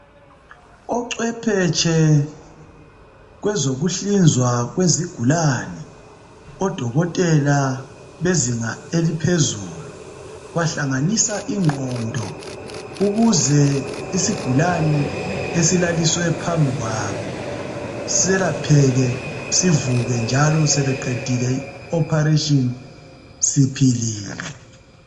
Ocwephetshe kwezokuhlinzwa kwezigulani odokotela bezinga eliphezulu bahlanganisa ingqondo ukuze isigulane esilaliswe phambi kwabo selapheke njalo sivuke nxa sebeqedile ukusihlinza siphilile.